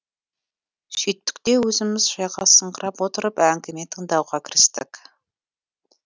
сүйттік те өзіміз жайғасыңқырап отырып әңгіме тыңдауға кірістік